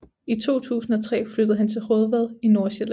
I 2003 flyttede han til Raadvad i Nordsjælland